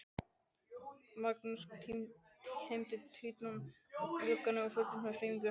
Magnús hímdi tvíátta í glugganum og fylgdist með hreyfingum hans.